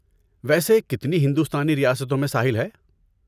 ویسے کتنی ہندوستانی ریاستوں میں ساحل ہے؟